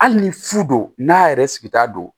Hali ni fu don n'a yɛrɛ sigita don